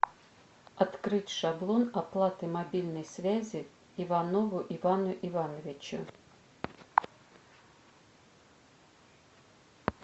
открыть шаблон оплаты мобильной связи иванову ивану ивановичу